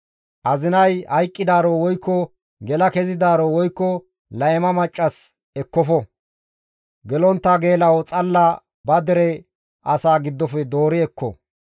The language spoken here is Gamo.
Azinay hayqqidaaro woykko gela kezidaaro woykko layma maccas ekkofo; gelontta geela7o xalla ba dere asaa giddofe doori ekko.